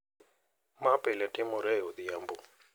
ma pile timore e odhiambo.